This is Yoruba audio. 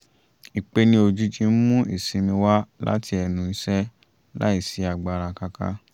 ìpeni ojìjì ń mú ìsinmi wá láti ẹnu iṣẹ́ láì sí agbára káká